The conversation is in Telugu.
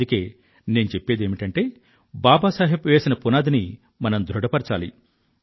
అందుకే నేను చెప్పేదేమిటంటే బాబా సాహెబ్ వేసిన పునాదిని మనం బలపరచాలి